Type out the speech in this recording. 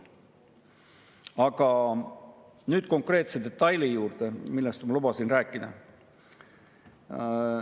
Aga nüüd konkreetse detaili juurde, millest ma lubasin rääkida.